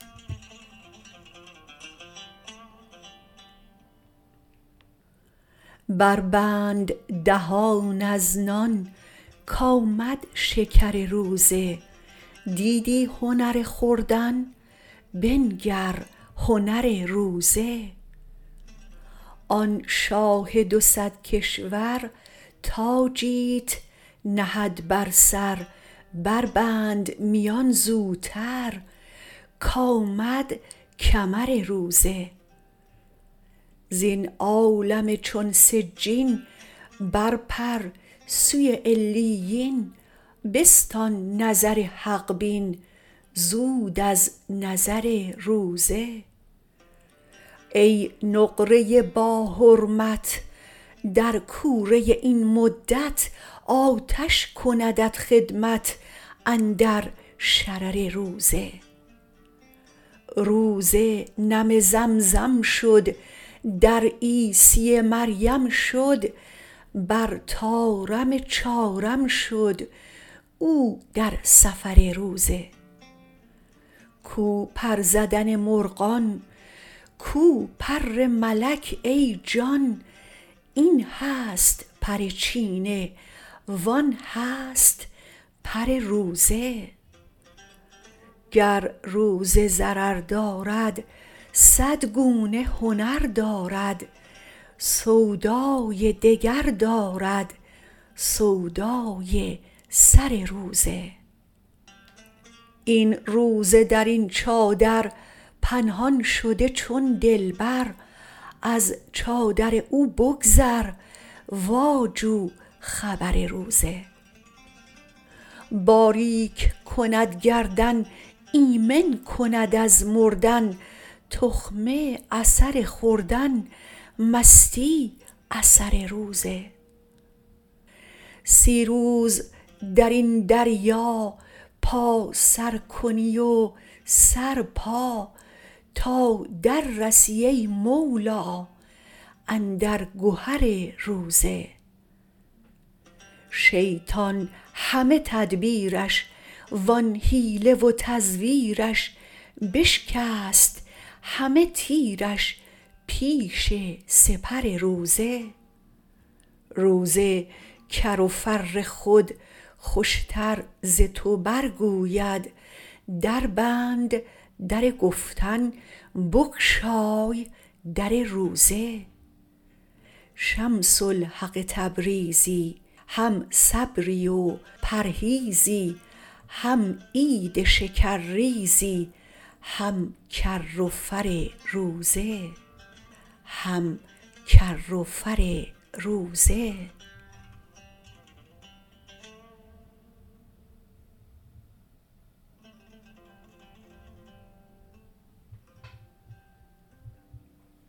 بربند دهان از نان کآمد شکر روزه دیدی هنر خوردن بنگر هنر روزه آن شاه دو صد کشور تاجیت نهد بر سر بربند میان زوتر کآمد کمر روزه زین عالم چون سجین برپر سوی علیین بستان نظر حق بین زود از نظر روزه ای نقره باحرمت در کوره این مدت آتش کندت خدمت اندر شرر روزه روزه نم زمزم شد در عیسی مریم شد بر طارم چارم شد او در سفر روزه کو پر زدن مرغان کو پر ملک ای جان این هست پر چینه و آن هست پر روزه گر روزه ضرر دارد صد گونه هنر دارد سودای دگر دارد سودای سر روزه این روزه در این چادر پنهان شده چون دلبر از چادر او بگذر واجو خبر روزه باریک کند گردن ایمن کند از مردن تخمه اثر خوردن مستی اثر روزه سی روز در این دریا پا سر کنی و سر پا تا دررسی ای مولا اندر گهر روزه شیطان همه تدبیرش و آن حیله و تزویرش بشکست همه تیرش پیش سپر روزه روزه کر و فر خود خوشتر ز تو برگوید دربند در گفتن بگشای در روزه شمس الحق تبریزی هم صبری و پرهیزی هم عید شکرریزی هم کر و فر روزه